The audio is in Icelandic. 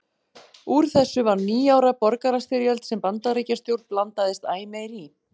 Úr þessu varð níu ára borgarastyrjöld sem Bandaríkjastjórn blandaðist æ meir í.